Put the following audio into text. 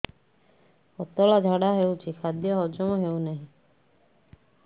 ପତଳା ଝାଡା ହେଉଛି ଖାଦ୍ୟ ହଜମ ହେଉନାହିଁ